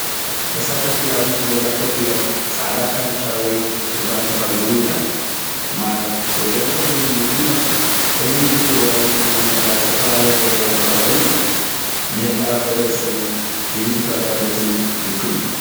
ተሳተፍቲ ኣብ ውሽጢ ገዛ ኮፍ ኢሎም ጻዕዳ ካምቻ ወይ ቱርባን ተኸዲኖም ይረኣዩ። ማይ ወይ ገለ ሒዞም ዝመጹ ይመስሉ። ሕብሪ ምድሪ ወይ መንድቕ ዝተፈላለየ ሕብሪ ኣብ ከባቢኦም ይረአ። ንህላወ ሕብረተሰብን ድምጺ ተወዳደርትን ዝውክል እዩ።